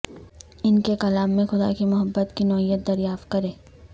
ان کے کلام میں خدا کی محبت کی نوعیت دریافت کریں